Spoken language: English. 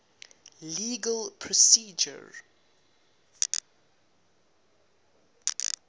legal procedure